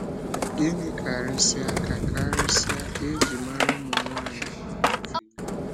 Gịnị kárịsịa ka kárịsịa ka e ji mara ụmụ nwanyị áńọ nke Fílíp?